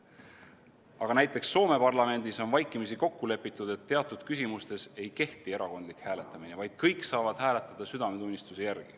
Aga näiteks Soome parlamendis on vaikimisi kokku lepitud, et teatud küsimustes ei kehti erakondlik hääletamine, vaid kõik saavad hääletada südametunnistuse järgi.